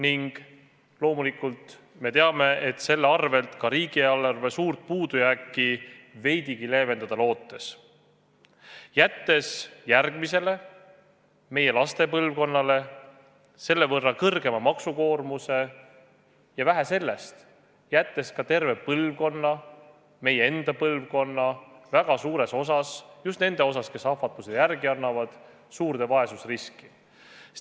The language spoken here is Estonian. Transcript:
Ja loomulikult me teame, et loodate selle varal ka riigieelarve suurt puudujääki veidigi leevendada, jättes järgmisele, meie laste põlvkonnale selle võrra suurema maksukoormuse ja, vähe sellest, pannes terve meie enda põlvkonna – väga suuresti just nende osas, kes ahvatlusele järele annavad – suurde vaesusriski.